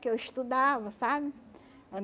Que eu estudava, sabe?